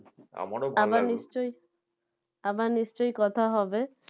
আবার নিশ্চয়ই আবার নিশ্চয়ই কথা হবে